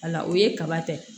Wala o ye kaba ta ye